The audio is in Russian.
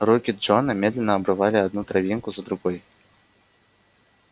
руки джона медленно обрывали одну травинку за другой